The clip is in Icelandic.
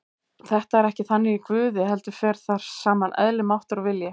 Þetta er ekki þannig í Guði heldur fer þar saman eðli, máttur og vilji.